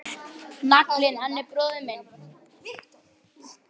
Naglinn hann bróðir minn.